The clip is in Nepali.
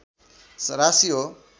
राशि हो